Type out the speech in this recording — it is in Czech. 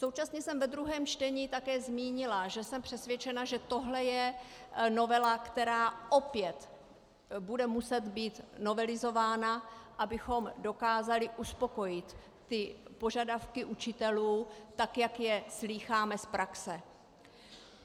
Současně jsem ve druhém čtení také zmínila, že jsem přesvědčena, že tohle je novela, která opět bude muset být novelizována, abychom dokázali uspokojit ty požadavky učitelů tak, jak je slýcháme z praxe.